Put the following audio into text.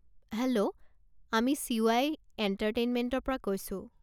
Hello আমি CY. এণ্টাৰটেইনমেণ্টৰ পৰা কৈছো।